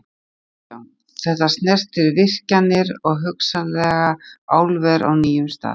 Kristján: Þetta snertir virkjanir og hugsanlega álver á nýjum stað?